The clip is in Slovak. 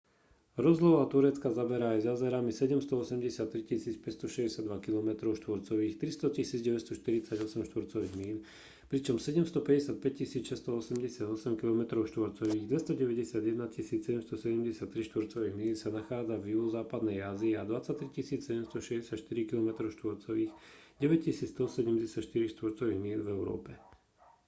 rozloha turecka zaberá aj s jazerami 783 562 kilometrov štvorcových 300 948 štvorcových míľ pričom 755 688 kilometrov štvorcových 291 773 štvorcových míľ sa nachádza v juhozápadnej ázii a 23 764 kilometrov štvorcových 9 174 štvorcových míľ v európe